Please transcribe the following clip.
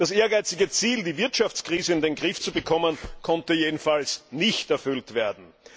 Das ehrgeizige Ziel, die Wirtschaftskrise in den Griff zu bekommen, konnte jedenfalls nicht erreicht werden.